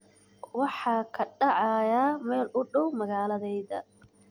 waxa ka dhacaya meel u dhow magaaladayda